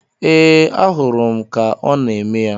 Ee, ahụrụ m ka ọ na-eme ya.